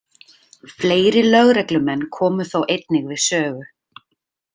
Fleiri lögreglumenn komu þó einnig við sögu.